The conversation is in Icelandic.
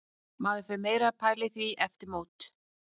Maður fer meira að pæla í því eftir mót.